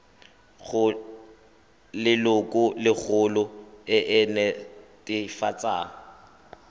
go lelokolegolo e e netefatsang